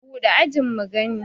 buɗe ajin mu gani!